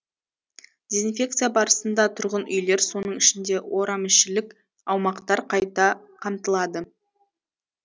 дезинфекция барысында тұрғын үйлер соның ішінде орамішілік аумақтар қайта қамтылады